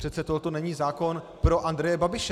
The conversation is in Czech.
Přece tohle není zákon pro Andreje Babiše.